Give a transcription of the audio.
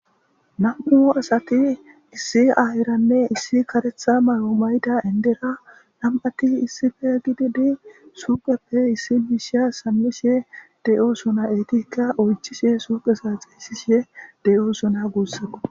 Nam7u asati issi ahiranne issi karetha mayo mayda indera nam7atti issife gidi di suuqeppe issi biisha sammishe de7o sona eetikka oychishe suuqesa xiisishe de7o suna guussaqo